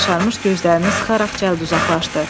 Yaşarmış gözlərini sıxaraq cəld uzaqlaşdı.